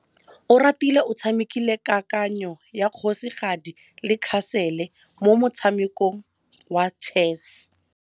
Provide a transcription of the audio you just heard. Oratile o tshamekile kananyô ya kgosigadi le khasêlê mo motshamekong wa chess.